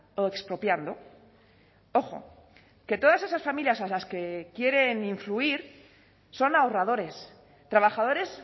o expropiando ojo que todas esas familias a las que quieren influir son ahorradores trabajadores